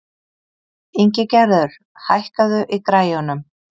Ingigerður, hækkaðu í græjunum.